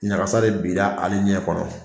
Ɲagasa de bira ale ɲɛ kɔrɔ.